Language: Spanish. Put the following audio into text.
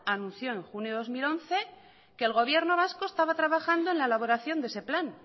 anunció en junio de dos mil once que el gobierno vasco estaba trabajando en la elaboración de ese plan